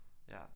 Ja